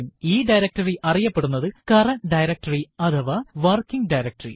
ഈ ഡയറക്ടറി അറിയപ്പെടുന്നത് current directory അഥവാ വർക്കിങ് ഡയറക്ടറി